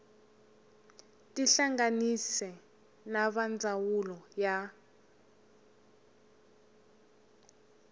tihlanganise na va ndzawulo ya